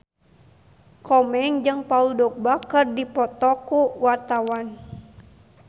Komeng jeung Paul Dogba keur dipoto ku wartawan